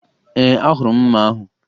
Ee, ahụrụ m mma ahụ